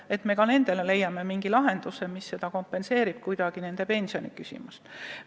Peaksime ka nendele leidma mingi lahenduse, mis kuidagi nende pensioniküsimust leevendab.